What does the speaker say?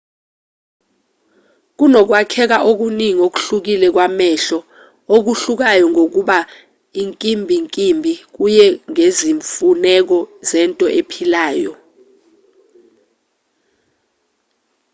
kunokwakheka okuningi okuhlukile kwamehlo okuhlukayo ngokuba inkimbinkimbi kuye ngezimfuneko zento ephilayo